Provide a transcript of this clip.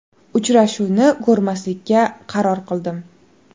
Uchrashuvni ko‘rmaslikka qaror qildim.